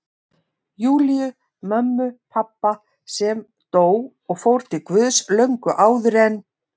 Júlíu, mömmu pabba, sem dó og fór til Guðs löngu áður en